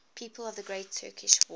people of the great turkish war